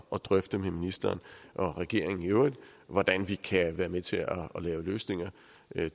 at drøfte med ministeren og regeringen i øvrigt hvordan vi kan være med til at lave løsninger